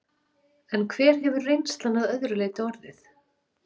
En hver hefur reynslan að öðru leyti orðið?